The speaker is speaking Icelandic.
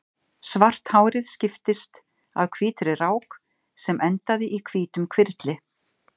Svart hárið skiptist af hvítri rák sem endaði í hvítum hvirfli.